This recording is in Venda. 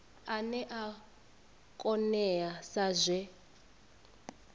ane a oea sa zwe